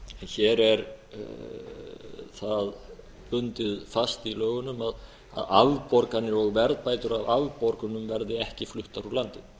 hér er það bundið fast í lögunum að afborganir og verðbætur af afborgunum verði ekki fluttar úr landi